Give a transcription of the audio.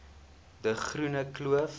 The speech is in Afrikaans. de groene kloof